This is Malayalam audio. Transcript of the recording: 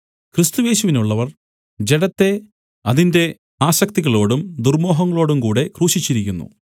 ക്രിസ്തുയേശുവിനുള്ളവർ ജഡത്തെ അതിന്റെ ആസക്തികളോടും ദുർമോഹങ്ങളോടും കൂടെ ക്രൂശിച്ചിരിക്കുന്നു